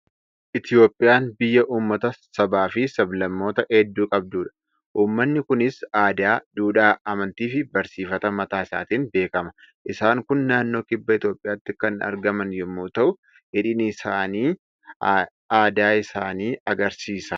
Itoophiyaan biyya uummata, sabaa fi sab-lammoota hedduu qabdudha. Uummani kunis aadaa, duudhaa, amantii fi barsiifata mataa isaatiin beekama. Isaan kun naannoo kibba Itoophiyaatti kan argaman yommuu ta'u, hidhiin isaanii aadaa isaanii argisiisa.